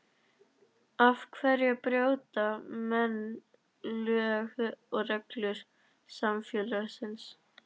Af hverja brjóta menn lög og reglur samfélagsins?